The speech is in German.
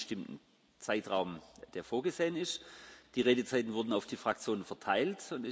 Wir haben einen bestimmten Zeitrahmen, der vorgesehen ist. Die Redezeiten wurden auf die Fraktionen verteilt.